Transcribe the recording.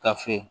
Ka fe